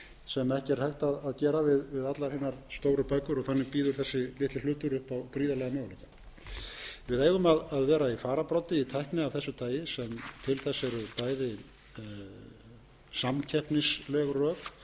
sem ekki er hægt að gera við allar hinar stóru bækur þannig bíður þessi litli hlutur upp á gríðarlega möguleika við eigum að vera í fararbroddi í tækni af þessu tagi sem til þess eru bæði samkeppnisleg rök en ekki